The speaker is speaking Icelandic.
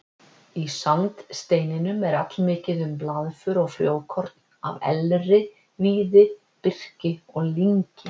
Í sandsteininum er allmikið um blaðför og frjókorn af elri, víði, birki og lyngi.